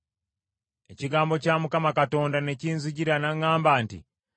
Ekigambo kya Mukama Katonda ne kinzijira n’aŋŋamba nti,